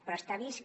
però està vist que